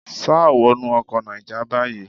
Sá wọnú ọkọ Náíjà báyìí.